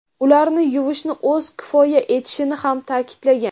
ularni yuvishni o‘zi kifoya etishini ham ta’kidlagan.